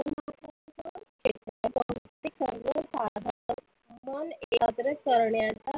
मन करण्याचा